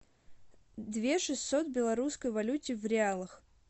две шестьсот белорусской валюте в реалах